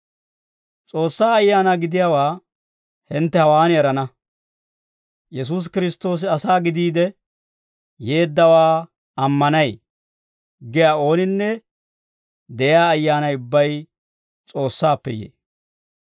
S'oossaa Ayaana gidiyaawaa hintte hawaan erana; «Yesuusi Kiristtoosi asaa gidiide yeeddawaa ammanay» giyaa oonaninne de'iyaa ayyaanay ubbay S'oossaappe yee.